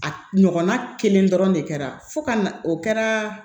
A ɲɔgɔnna kelen dɔrɔn de kɛra fo ka na o kɛra